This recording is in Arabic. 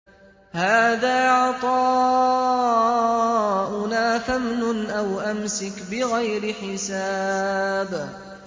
هَٰذَا عَطَاؤُنَا فَامْنُنْ أَوْ أَمْسِكْ بِغَيْرِ حِسَابٍ